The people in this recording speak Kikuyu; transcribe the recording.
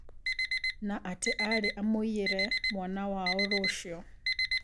Na atĩ arĩ amũiyere mwana wao rũcio.